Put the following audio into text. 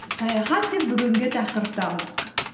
саяхат деп бүгінгі тақырыпты алдық